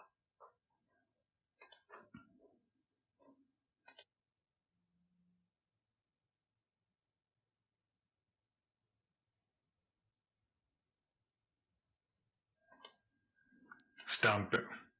stamp it